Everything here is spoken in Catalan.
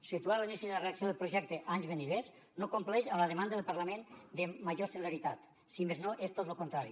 situar l’inici de redacció del projecte a anys venidors no compleix amb la demanda del parlament de major celeritat si més no és tot lo contrari